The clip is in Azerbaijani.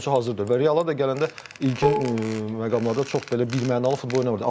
Amma bu oyunçu hazır deyil və Realda gələndə ilkin məqamlarda çox belə birmənalı futbol oynamırdı.